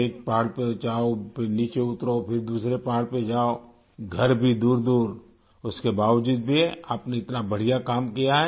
ایک پہاڑ پہ جاؤ، پھر نیچے اترو، پھر دوسرے پہاڑ پہ جاؤ، گھر بھی دور دور اس کے باوجود بھی، آپ نے، اتنا بڑھیا کام کیا